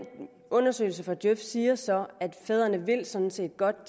undersøgelse fra djøf siger så at fædrene sådan set godt